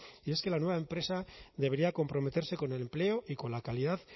es que la nueva empresa debería comprometerse con el empleo y con la calidad